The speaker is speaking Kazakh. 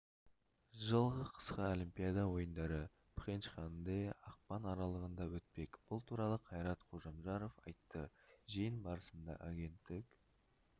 жылғы қысқы олимпиада ойындары пхенчханде ақпан аралығында өтпек бұл туралы қайрат қожамжаров айтты жиын барысында агенттік